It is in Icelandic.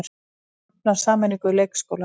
Hafnar sameiningu leikskóla